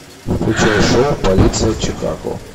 включай шоу полиция чикаго